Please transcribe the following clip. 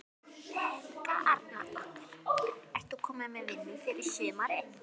Helga Arnardóttir: Ert þú komin með vinnu fyrir sumarið?